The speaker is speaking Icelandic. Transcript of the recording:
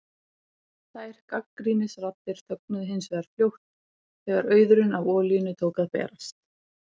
Þær gagnrýnisraddir þögnuðu hins vegar fljótt þegar auðurinn af olíunni tók að berast.